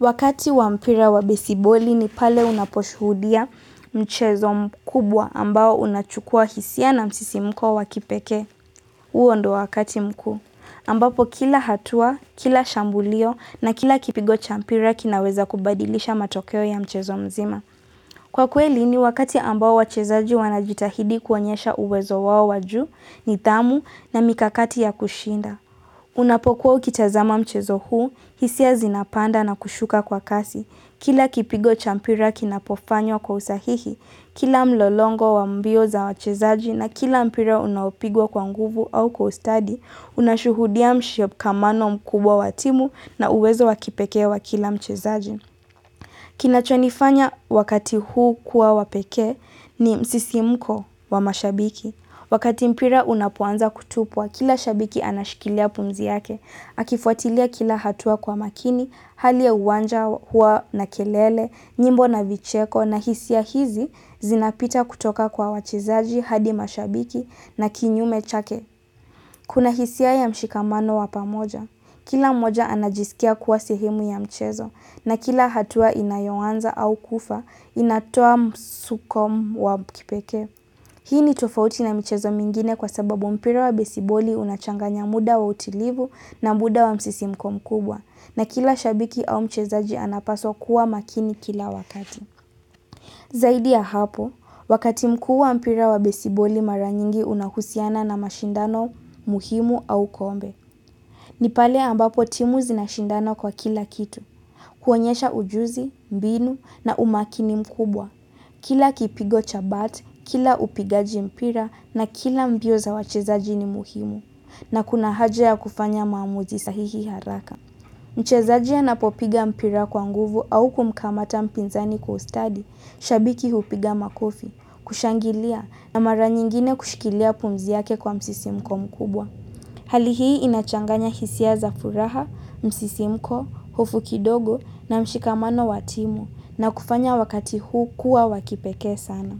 Wakati wa mpira wa besiboli ni pale unaposhuhudia mchezo mkubwa ambao unachukua hisia na msisimko wa kipekee. Huo ndo wakati mkuu. Ambapo kila hatua, kila shambulio na kila kipigo cha mpira kinaweza kubadilisha matokeo ya mchezo mzima. Kwa kweli ni wakati ambao wachezaji wanajitahidi kuonyesha uwezo wao wa juu nidhamu na mikakati ya kushinda. Unapokuwa ukitazama mchezo huu, hisia zinapanda na kushuka kwa kasi. Kila kipigo cha mpira kinapofanywa kwa usahihi, kila mlolongo wa mbio za wachezaji na kila mpira unaopigwa kwa nguvu au kwa ustadi, unashuhudia mshikamano mkubwa wa timu na uwezo wa kipekee wa kila mchezaji. Kinachonifanya wakati huu kuwa wa pekee ni msisimko wa mashabiki. Wakati mpira unapoanza kutupwa, kila shabiki anashikilia pumzi yake. Akifuatilia kila hatua kwa makini, hali ya uwanja hua na kelele, nyimbo na vicheko na hisia hizi zinapita kutoka kwa wachezaji hadi mashabiki na kinyume chake. Kuna hisia ya mshikamano wa pamoja, kila mmoja anajisikia kuwa sehemu ya mchezo, na kila hatua inayoanza au kufa inatoa msukumo wa kipekee. Hii ni tofauti na mchezo mingine kwa sababu mpira wa besiboli unachanganya muda wa utilivu na muda wa msisimko mkubwa na kila shabiki au mchezaji anapaswa kuwa makini kila wakati. Zaidi ya hapo, wakati mkuu wa mpira wa besiboli mara nyingi unahusiana na mashindano muhimu au kombe. Ni pale ambapo timu zinashindana kwa kila kitu. Kuonyesha ujuzi, mbinu na umakini mkubwa. Kila kipigo cha bat, kila upigaji mpira na kila mbio za wachezaji ni muhimu. Na kuna haja ya kufanya maamuzi sahihi haraka. Mchezaji anapopiga mpira kwa nguvu au kumkamata mpinzani kwa ustadi, shabiki hupiga makofi, kushangilia na mara nyingine kushikilia pumzi yake kwa msisimko mkubwa. Hali hii inachanganya hisia za furaha, msisimko, hofu kidogo na mshikamano wa timu, na kufanya wakati huu kuwa wa kipekee sana.